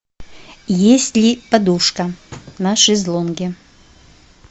есть ли подушка на шезлонге